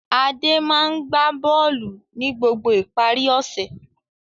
Adé máa ń gbá bọ́ọ́lù ní gbogbo ìparí ọ̀sẹ̀.